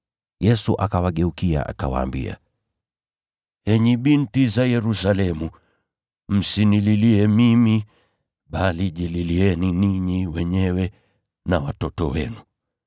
Yesu akawageukia, akawaambia, “Enyi binti za Yerusalemu, msinililie mimi bali jililieni ninyi wenyewe na watoto wenu.